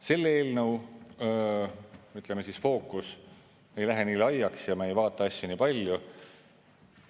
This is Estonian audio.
Selle eelnõu fookus ei lähe nii laiaks ja me ei vaata asju nii palju.